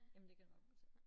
Jamen det kan nok passe